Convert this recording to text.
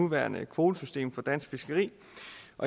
nuværende kvotesystem for dansk fiskeri